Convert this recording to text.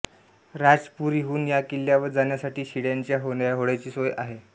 राजपुरीहून या किल्ल्यावर जाण्यासाठी शिडाच्या होड्यांची सोय आहे